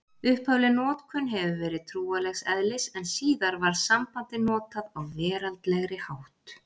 Upphafleg notkun hefur verið trúarlegs eðlis en síðar var sambandið notað á veraldlegri hátt.